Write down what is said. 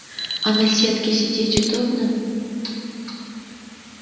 а на сетке сидеть удобно